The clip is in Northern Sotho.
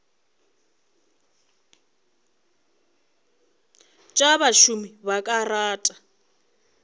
tša bašomi ba ka rata